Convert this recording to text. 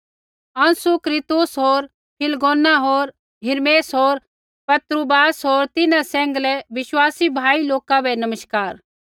अंसुक्रितुस होर फिलगोन होर हिर्मेस होर पत्रुबास होर तिन्हां सैंघलै विश्वासी भाई लोका बै नमस्कार